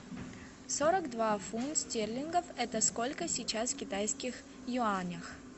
сорок два фунт стерлингов это сколько сейчас в китайских юанях